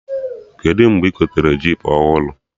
Kedụ mgbe ị gotere jop ọhụrụ?